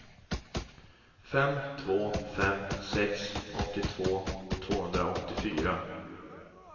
fem två fem sex åttiotvå tvåhundraåttiofyra